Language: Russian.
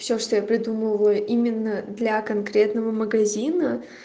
все что я придумываю именно для конкретного магазина